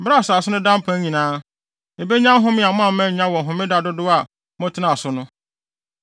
Bere a asase no da mpan nyinaa, ebenya home a moamma annya wɔ Homeda dodow a motenaa so no.